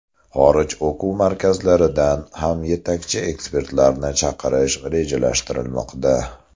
Xorij o‘quv markazlaridan ham yetakchi ekspertlarni chaqirish rejalashtirilmoqda.